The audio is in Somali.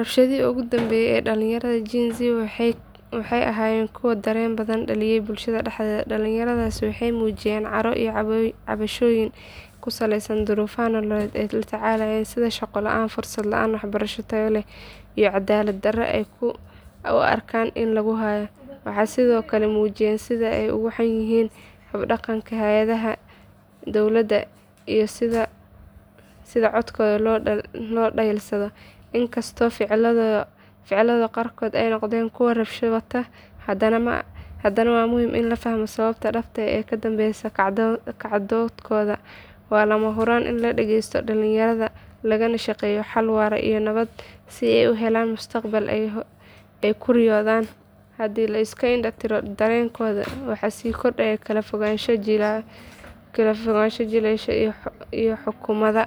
Rabshadihii ugu dambeeyay ee dhalinyarada jiilka Gen-Z waxay ahaayeen kuwo dareen badan dhaliyay bulshada dhexdeeda. Dhalinyaradaasi waxay muujiyeen caro iyo cabashooyin ku saleysan duruufaha nololeed ee ay la tacaalayaan sida shaqo la’aanta, fursad la’aanta waxbarasho tayo leh, iyo cadaalad darrada ay u arkaan in lagu hayo. Waxay sidoo kale muujiyeen sida ay uga xun yihiin habdhaqanka hay’adaha dowladda iyo sida codkooda loo dhayalsado. Inkastoo ficiladooda qaarkood ay noqdeen kuwo rabshado wata, haddana waa muhim in la fahmo sababaha dhabta ah ee ka dambeya kacdoonkooda. Waa lama huraan in la dhageysto dhalinyarada, lagana shaqeeyo xal waara oo nabadeed si ay u helaan mustaqbal ay ku riyoodaan. Haddii la iska indho tiro dareenkooda, waxaa sii kordhaya kala fogaanshaha jiilasha iyo xukuumadda.